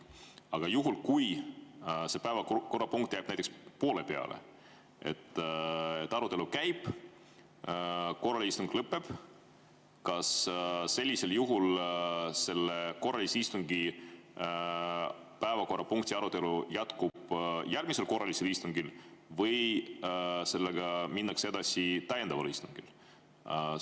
Aga kui see päevakorrapunkt jääb näiteks poole peale, arutelu käib ja korraline istung lõpeb, kas sellisel juhul selle korralise istungi päevakorrapunkti arutelu jätkub järgmisel korralisel istungil või sellega minnakse edasi täiendaval istungil?